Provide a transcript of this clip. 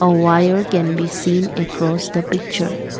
a wire can be seen across the picture.